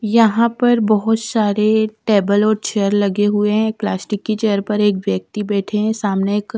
यहां पर बहुत सारे टेबल और चेयर लगे हुए हैं प्लास्टिक की चेयर पर एक व्यक्ति बैठे हैं सामने एक--